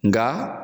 Nka